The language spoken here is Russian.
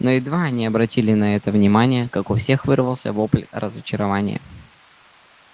но едва они обратили на это внимание как у всех вырвался вопль разочарования